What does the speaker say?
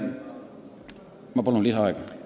Ma palun lisaaega!